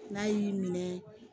N'a y'i minɛ